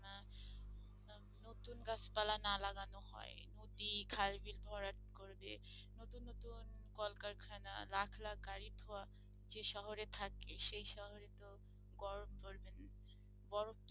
বানান হয় নদী খাল বিল ভরাট করে দিয়ে, নতুন নতুন কলকারখানা লাখ লাখ গাড়ির ধোঁয়া যে শহরে থাকি সেই শহরে তো গরম পরবে